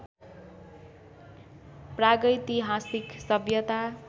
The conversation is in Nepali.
प्रागैतिहासिक सभ्यता